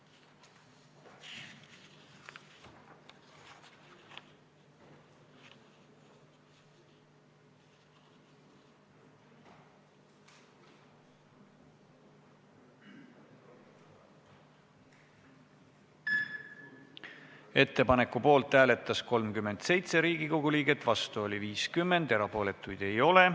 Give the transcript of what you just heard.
Hääletustulemused Ettepaneku poolt hääletas 37 Riigikogu liiget, vastu oli 50, erapooletuid ei ole.